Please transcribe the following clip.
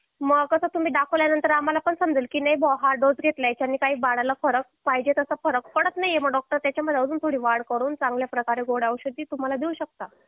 मग कसं तुम्ही दाखवल्यानंतर आम्हाला पण समजेलकी नाही हा डोस घेतल्यानंतर बाळाला पाहिजे तसा फरक पडत नाहीये मग डॉक्टर अजून त्याच्यामध्ये वाढ करून थोडा चांगल्या प्रकारच्या गोळ्या औषधे देऊ शकता